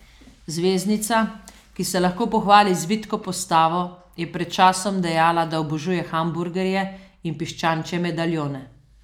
Zvezdnica, ki se lahko pohvali z vitko postavo, je pred časom dejala, da obožuje hamburgerje in piščančje medaljone.